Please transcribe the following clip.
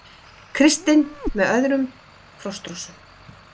Kristinn með öðrum Frostrósum